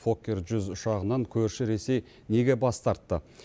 фоккер жүз ұшағынан көрші ресей неге бас тартты